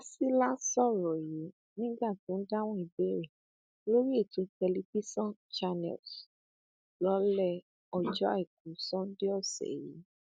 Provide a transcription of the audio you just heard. fásilà sọrọ yìí nígbà tó ń dáhùn ìbéèrè lórí ètò tẹlifíṣàn channels lálẹ ọjọ àìkú sannde ọsẹ yìí